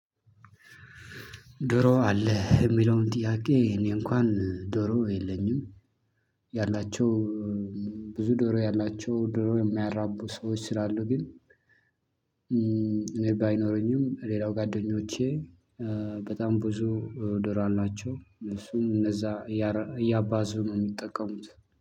ዶሮ አለህ የሚለውን ጥያቄ እኔ እንካን ዶሮ የለኝም። ያላቸው ብዙ ዶሮ ያላቸው ዶሮ የሚያራቡ ሰዎች ስላሉ። ግን እኔ ባይኖረኝም ሌላ ጉአደኞቼ በጣም ብዙ ዶሮ አላቸው። እነሱ እንደዛ እያባዙ ነው የሚጠቀሙት።